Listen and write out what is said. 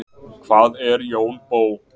hvað er jón bö